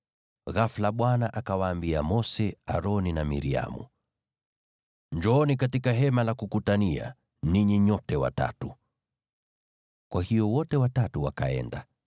Ghafula Bwana akawaambia Mose, Aroni na Miriamu, “Njooni katika Hema la Kukutania, ninyi nyote watatu.” Kwa hiyo wote watatu wakaenda.